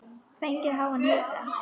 Fengið háan hita.